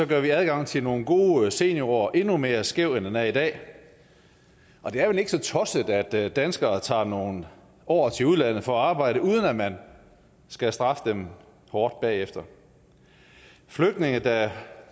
gør vi adgangen til nogle gode seniorår endnu mere skæv end den er i dag det er vel ikke så tosset at danskere tager nogle år til udlandet for at arbejde uden at man skal straffe dem hårdt bagefter flygtninge der